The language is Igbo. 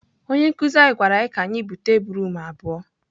Onye nkụzi anyị gwara anyị ka anyị bute broom abụọ.